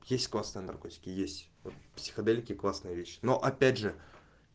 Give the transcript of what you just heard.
есть классная наркотики есть психоделики классные вещи но опять же